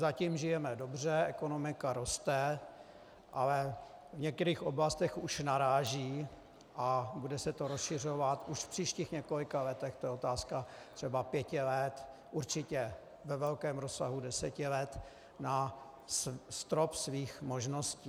Zatím žijeme dobře, ekonomika roste, ale v některých oblastech už naráží a bude se to rozšiřovat už v příštích několika letech, to je otázka třeba pěti let, určitě ve velkém rozsahu deseti let, na strop svých možností.